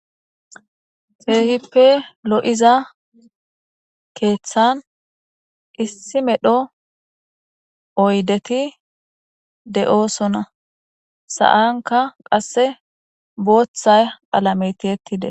Keehipe lo7iza keeththan issi medho oydethi de7oosona;sa7ankka qasse booththa qalamee thiyeththi des.